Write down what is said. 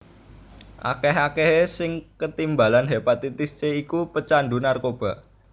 Akeh akehé sing ketimbalan hepatitis C iku pecandu narkoba